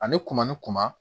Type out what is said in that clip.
Ani kunba ni kunba